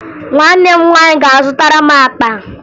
Nwanne m nwaanyị ga-azụtara m akpa